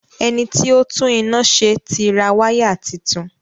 Ẹniti ó tún iná ṣe tí ra waya títún